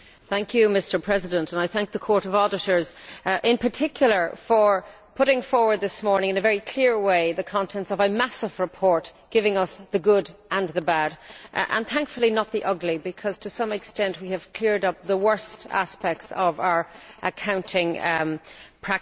Mr President, I thank the Court of Auditors in particular for putting forward this morning, in a very clear way, the contents of a massive report giving us the good and the bad and thankfully not the ugly because, to some extent, we have cleared up the worst aspects of our accounting practices.